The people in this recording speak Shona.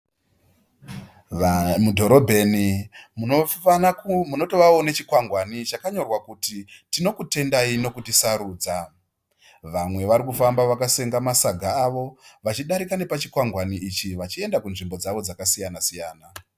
Mudhorobheni munotovao nechikwangwani chakanyorwa kuti tinokutendai nekutisarudza. Vamwe varikufamba vakasenga masaga avo vachidarika nepachikwangwani ichi vachienda kunzvimbo dzavo dzakasiyana siyana.